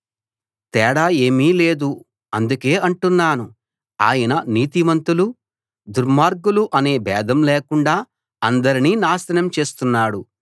తేడా ఏమీ లేదు అందుకే అంటున్నాను ఆయన నీతిమంతులు దుర్మార్గులు అనే భేదం లేకుండా అందరినీ నాశనం చేస్తున్నాడు